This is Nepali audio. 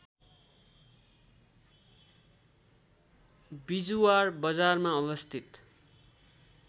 बिजुवार बजारमा अवस्थित